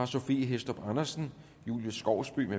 sophie hæstorp andersen julie skovsby